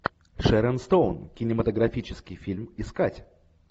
шерон стоун кинематографический фильм искать